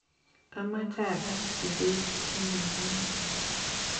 Amache agaas chubet chemobo Iman